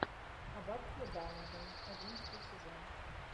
аббатство даунтон одиннадцатый сезон